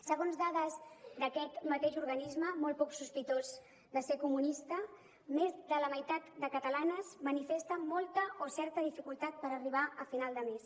segons dades d’aquest mateix organisme molt poc sospitós de ser comunista més de la meitat de catalanes manifesta molta o certa dificultat per arribar a final de mes